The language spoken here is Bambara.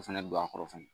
O fɛnɛ don a kɔrɔ fɛnɛ